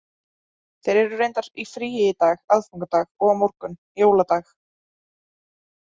Þeir eru reyndar í fríi í dag, aðfangadag, og á morgun, jóladag.